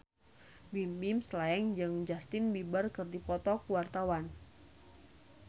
Bimbim Slank jeung Justin Beiber keur dipoto ku wartawan